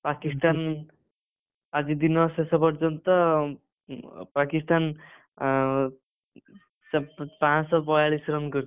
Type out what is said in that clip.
ପାକିସ୍ତାନ ଆଜି ଦିନ ଶେଷ ପର୍ଯ୍ୟନ୍ତ ପାକିସ୍ତାନ ଅ ସେ ପାଂଶହବୟାଳିଶ run କରିଛି।